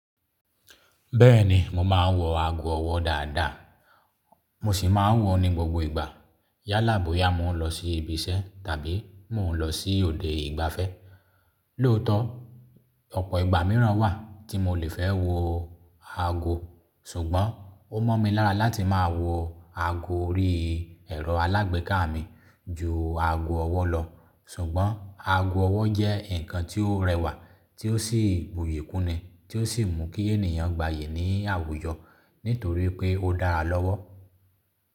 Bẹ́ẹ̀ni, mo máa n wọ ago ọwọ́ dáadáa, mo sì máa n wọ̀ ọ́n ní gbogbo ìgbà. Yálàboya, mo n lọ sí ibi iṣẹ́ tàbí mo n lọ sí òde ìgbafẹ́. Lóòótọ́ ọ̀pọ̀ ìgbà míràn wà tí mo lè fẹ́ wo ago, ṣùgbọ́n ó mọ́ mi lára láti máa wọ ago orí ẹ̀rọ alágbèéká mi ju ago ọwọ́ lọ. Ṣùgbọ́n ago ọwọ́ jẹ́ nǹkan tí ó rẹwà tí ó sì buyì kúni tí ó sì mú kí ènìyàn gbayì ní àwùjọ nítorí pé ó dára lọ́wọ́.